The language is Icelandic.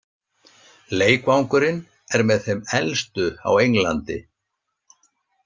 Leikvangurinn er með þeim elstu á Englandi.